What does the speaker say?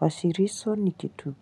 Wasilisho ni kitu.